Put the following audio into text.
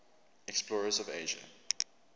explorers of asia